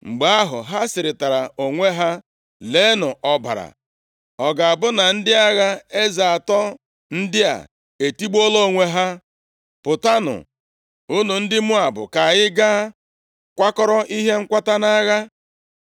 Mgbe ahụ, ha sịrịtara onwe ha, “Leenụ ọbara! Ọ ga-abụ na ndị agha eze atọ ndị a etigbuola onwe ha. Pụtanụ, unu ndị Moab, ka anyị gaa kwakọrọ ihe nkwata na-agha!”